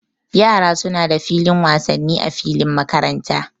Yara suna da filin wasanni a filin makaranta